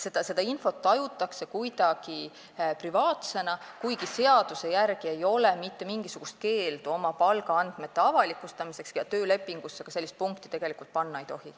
Seda infot tajutakse kuidagi privaatsena, kuigi seaduse järgi ei ole mitte mingisugust keeldu oma palgaandmeid avalikustada ja töölepingusse ka sellist punkti tegelikult panna ei tohi.